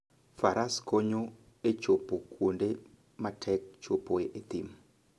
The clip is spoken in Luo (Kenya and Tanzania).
Faras konyo e chopo kuonde matek chopoe e thim.